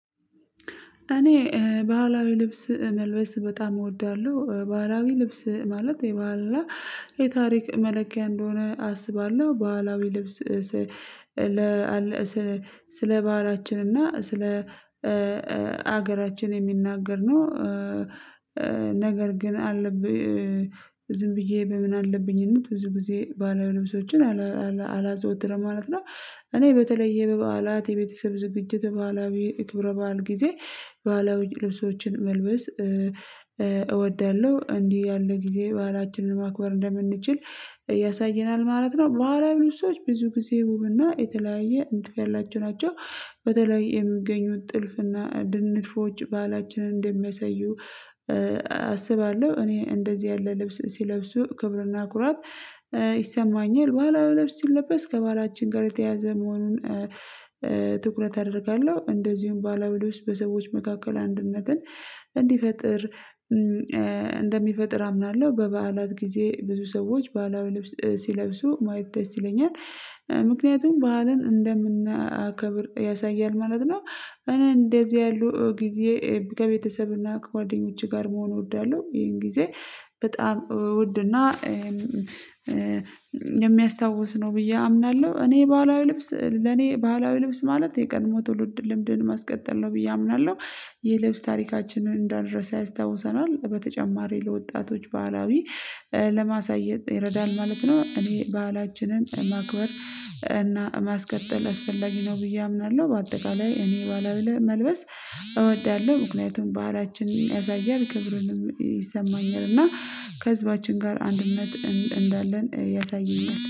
እኔ ባህላዊ ልብስ መልበስ በጣም እወዳለሁ። ባህላዊ ልብስ ማለት የባህልና የታሪክ መለኪያ እንደሆነ አስባለሁ ባህላዊ ልብስ ስለ ባህላችን እና ስለ ሀገራችን የሚናገር ነው። ነገር ግን አለብኝ ዝም ብዬ በምን አለብኝነት ብዙ ጊዜ ባህላዊ ልብሶችን አላዘወትርም ማለት ነው። እኔ በተለየ በበዓላት የቤተሰብ ዝግጅት በባህላዊ ክብረ በዓል ጊዜ ባህላዊ ልብሶችን መልበስ እወዳለሁ። እንዲህ ያለ ጊዜ ባህላችንን ማክበር እንደምንችል ያሳየናል ማለት ነው። ባህላዊ ልብሶች ብዙ ጊዜ ውብና የተለያየ ንድፍ ያላቸው ናቸው። በተለይ የሚገኙት ጥልፍና እንዲህ ንድፎች ባህላችንን እንደሚያሳዩ አስባለሁ። እኔ እንደዚህ ያለ ልብስ ሲለብሱ ክብርና ኩራት ይሰማኛል። ባህላዊ ልብስ ሲለበስ ከባላችን ጋር የተያያዘ መሆኑን ትኩረት አደርጋለሁ። እንደዚሁም ባህላዊ ልብስ በሰዎች መካከል አንድነትን እንዲፈጥር እንደሚፈጥር አምናለሁ። በበዓላት ጊዜ ብዙ ሰዎች ባህላዊ ልብስ ሲለብሱ ማየት ደስ ይለኛል። ምክንያቱም ባህልን እንደምናከብር ያሳያል ማለት ነው። እኔ እንደዚህ ያሉ ጊዜ ከቤተሰብ እና ከጓደኞቼ ጋር መሆን እወዳለሁ ይሄን ጊዜ በጣም ውድ እና የሚያስታውስ ነው ብዬ አምናለሁ። እኔ ባህላዊ ልብስ ለኔ ባህላዊ ልብስ ማለት የቀድሞው ትውልድ ልምድን ማስቀጠል ነው ብዬ አምናለሁ። የልብስ ታሪካችንን እንዳንረሳ ያስታውሰናል በተጨማሪ ለወጣቶች ባህላዊ ለማሳየት ይረዳል ማለት ነው። እኔ ባህላችንን ማክበር እና ማስቀጠል አስፈላጊ ነው ብዬ አምናለሁ። በአጠቃላይ እኔ ባህላዊ መልበስ እወዳለሁ ምክንያቱም ባህላችንን ያሳያል ክብርንም ይሰማኛል እና ከህዝባችን ጋር አንድነት እንዳለን ያሳየኛል